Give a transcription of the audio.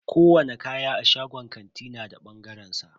Kowani kaya a shagon kanti na da bangaren sa.